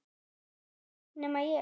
Það veit enginn nema ég.